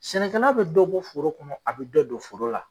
Sɛnɛkɛla bɛ bɔ foro kɔnɔ a bɛ don foro la.